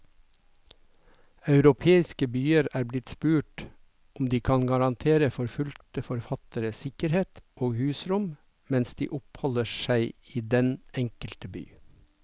Europeiske byer er blitt spurt om de kan garantere forfulgte forfattere sikkerhet og husrom mens de oppholder seg i den enkelte by.